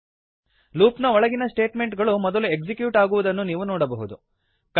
loop ನ ಒಳಗಿನ statement ಗಳು ಮೊದಲು ಎಕ್ಸಿಕ್ಯೂಟ್ ಅಗುವುದನ್ನು ನೀವು ನೋಡಬಹುದು